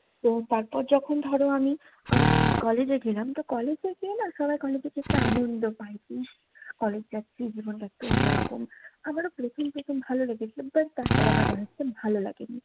তো তারপর যখন ধরো আমি উম college এ গেলাম। তো college এ গিয়ে না সবাই college এর একটা আনন্দ পায়। ইশ, college যাচ্ছি। জীবনটা একটু অন্যরকম। আমারও প্রথম প্রথম ভালো লেগেছে। but তারপর আমার ভালো লাগেনি।